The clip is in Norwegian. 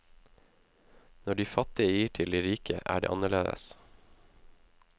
Når de fattige gir til de rike, er det annerledes.